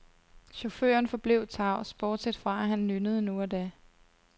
Chaufføren forblev tavs, bortset fra at han nynnede nu og da.